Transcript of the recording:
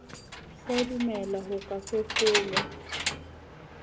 sa dumele ho ka fefolwa